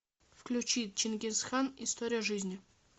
включи чингисхан история жизни